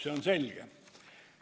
See on selge.